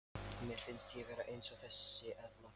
Mér finnst ég vera eins og þessi eðla.